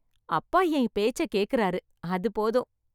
அப்பா என் பேச்சை கேக்குறாரு, அது போதும்.